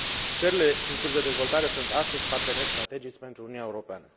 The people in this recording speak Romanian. Țările în curs de dezvoltare sunt, astăzi, parteneri strategici pentru Uniunea Europeană.